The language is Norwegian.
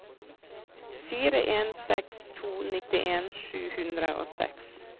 fire en seks to nittien sju hundre og seks